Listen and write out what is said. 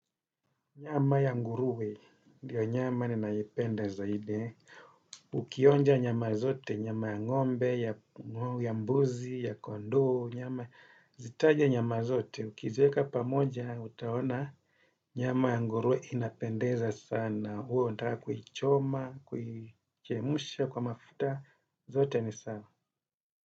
Nyama ya nguruwe, ndiyo nyama ninayoipenda zaidi, ukionja nyama zote, nyama ya ngombe, ya mbuzi, ya kondoo, nyama, zitaje nyama zote, ukizieka pamoja, utaona, nyama ya nguruwe inapendeza sana, uwe unataka kuichoma, kuichemsha kwa mafuta, zote ni sawa.